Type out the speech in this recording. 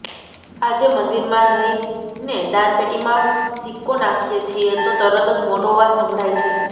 આજે મંદિરમાં જઈને દાનપેટીમાં સિક્કો નાખીએ છીએ તો તરત જ મોટો અવાજ સંભળાય છે